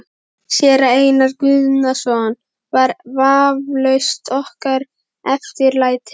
Séra Einar Guðnason var vafalaust okkar eftirlæti.